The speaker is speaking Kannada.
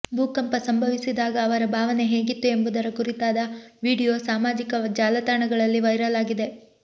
ಭೂಕಂಪ ಸಂಭವಿಸಿದಾಗ ಅವರ ಭಾವನೆ ಹೇಗಿತ್ತು ಎಂಬುದರ ಕುರಿತಾದ ವಿಡಿಯೋ ಸಾಮಾಜಿಕ ಜಾಲತಾಣಗಳಲ್ಲಿ ವೈರಲ್ ಆಗಿದೆ